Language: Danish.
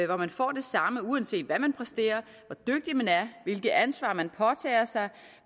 hvor man får det samme uanset hvad man præsterer og hvilket ansvar man påtager sig